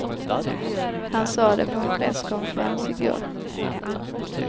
Han sa det på en presskonferens i går.